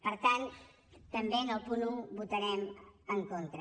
per tant també en el punt un votarem en contra